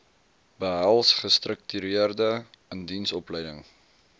behels gestruktureerde indiensopleiding